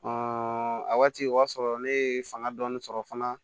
a waati o y'a sɔrɔ ne ye fanga dɔɔni sɔrɔ fana